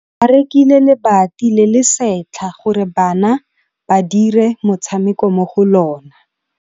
Ba rekile lebati le le setlha gore bana ba dire motshameko mo go lona.